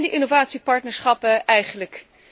Wat zijn die innovatiepartnerschappen eigenlijk?